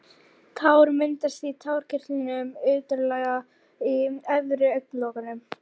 Tár myndast í tárakirtlum utarlega í efri augnlokunum.